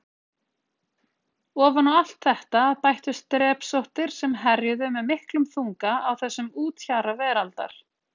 Ofan á allt þetta bættust drepsóttir sem herjuðu með miklum þunga á þessum úthjara veraldar.